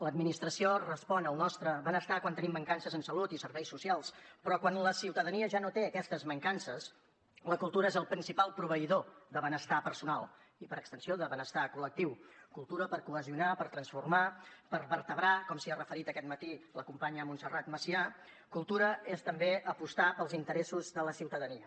l’administració respon al nostre benestar quan tenim mancances en salut i serveis socials però quan la ciutadania ja no té aquestes mancances la cultura és el principal proveïdor de benestar personal i per extensió de benestar col·lectiu cultura per cohesionar per transformar per vertebrar com s’hi ha referit aquest matí la companya montserrat macià cultura és també apostar pels interessos de la ciutadania